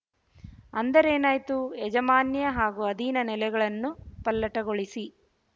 ಅಂದರೇನಾಯ್ತು ಯಾಜಮಾನ್ಯ ಹಾಗೂ ಅಧೀನ ನೆಲೆಗಳನ್ನು ಪಲ್ಲಟಗೊಳಿಸಿ